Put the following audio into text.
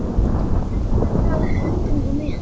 Vörðurinn hélt að sér höndum á meðan